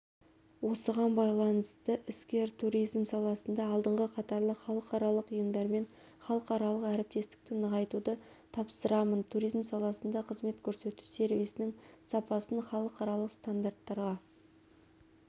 осыған байланысты іскер туризм саласында алдыңғы қатарлы халықаралық ұйымдармен халықаралық әріптестікті нығайтуды тапсырамын туризм саласында қызмет көрсету сервисінің сапасын халықаралық стандарттарға